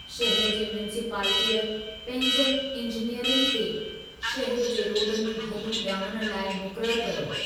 शहर जे म्यूनसपालिटीअ पंहिंजनि इंजीनियरनि खे शहर जे रोडनि जूं हदूं जाणण लाइ मुकररु कयो।